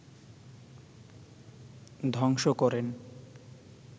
ধ্বংস করেন